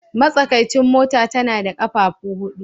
Matsakaicin mota tana da ƙafafu huɗu